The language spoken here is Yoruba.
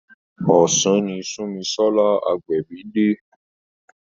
Ọ̀sán ni Sunmisola Agbebi dé.